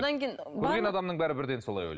көрген адамның бәрі бірден солай ойлайды